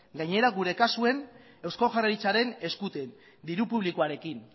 gainera gure kasuan eusko jaurlaritzaren eskutik diru publikoarekin